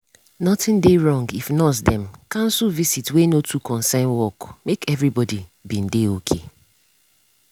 nothing dey wrong if nurse dem cancel visit wey no too concern work make everybody bin dey okay.